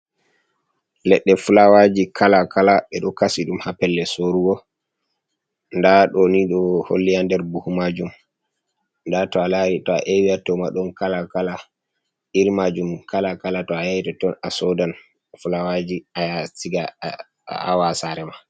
Leɗɗe fulawaji kala kala ɓe ɗo kasi ɗum ha pellel sorugo nda ɗo ni ɗo holli ya nder buhu majum, den to a lari to a ewi ha toma ɗon kala kala iri majum kala kala to a yahi toton a sodan fulawaji aya a siga, aawa ha sare ma.